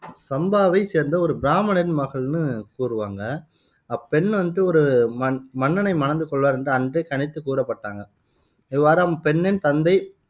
சம்பாவைச் சேர்ந்த ஒரு பிராமணரின் மகள்னு கூறுவாங்க அப்பெண் வந்து ஒரு மன் மன்னனை மணந்து கொள்வார் என்று அன்றே கணித்துக் கூறப்பட்டாங்க இவ்வாறா, அப்பெண்ணின் தந்தை